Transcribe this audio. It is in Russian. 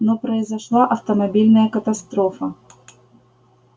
но произошла автомобильная катастрофа